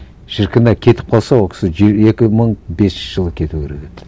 шіркін ай кетіп қалса ол кісі екі мың бесінші жылы кету керек еді